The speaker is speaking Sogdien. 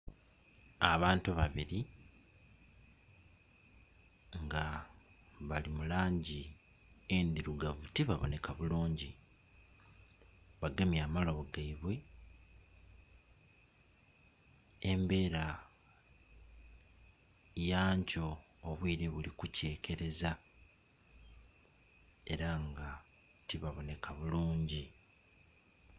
Abantu babiri nga bali mu langi ndhirugavu tibaboneka bulungi bagemye amalobo geibwe. Embera ya nkyo obwire buli ku kyekereza era nga ti baboneka bulungi.